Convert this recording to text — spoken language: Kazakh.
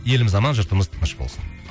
еліміз аман жұртымыз тыныш болсын